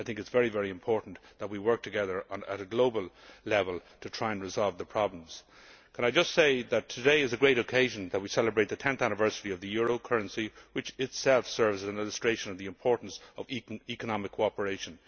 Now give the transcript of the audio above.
It is very important that we work together at a global level to try and resolve the problems. Let me just say that today is a great occasion we celebrate the 10th anniversary of the euro currency, which itself serves as an illustration of the importance of economic cooperation.